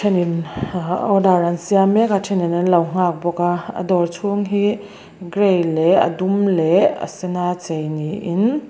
order an siam mek a then in an lo nghak bawk a a dawr chung hi gray leh a duh leh a sen a chei ni in--